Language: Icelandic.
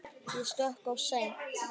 Ég stökk of seint.